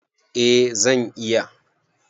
Eh zan iya.